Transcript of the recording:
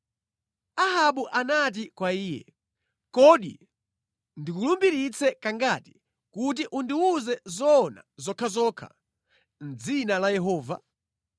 Ahabu anati kwa iye, “Kodi ndikulumbiritse kangati kuti undiwuze zoona zokhazokha mʼdzina la Yehova?”